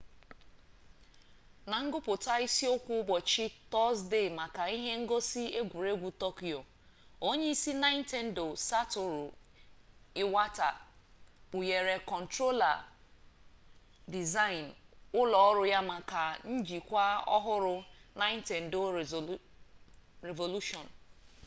na nguputa isi okwu ubochi tozdee maka ihe ngosi egwuregwu tokyo onye isi nintendo satoru iwata kpughere controller design ulo oru ya maka njikwa ohuru nintendo revolution